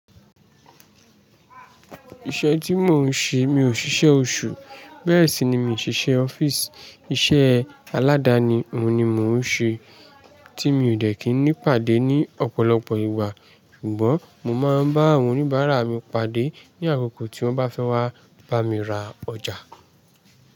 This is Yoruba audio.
Iṣẹ́ tí mò ń ṣe, mi ò ṣíṣe oṣù, bẹ́ẹ̀ sì ni mi ò ṣíṣe ọ́fíìsì. Iṣẹ́ aládani òun ni mò ń ṣe, tí mi ò dẹ̀ kíní ipàdé ní ọ̀pọ̀lọpọ̀ ìgbà. Ṣùgbọ́n mo máa ń bá àwọn oníbàárà mi pàdé ní àkókò tí wọ́n bá fẹ́ wá bá mi ra ọjà.